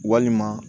Walima